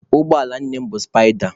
Ụgbọala nne mụ bụ sụpaịda.